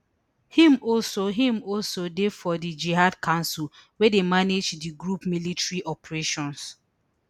im also im also dey for di jihad council wey dey manage di group military operations